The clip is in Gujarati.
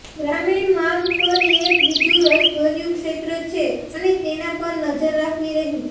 ગ્રામીણ માગ પણ એક બીજું રસભર્યું ક્ષેત્ર છે અને તેના પર નજર રાખવી રહી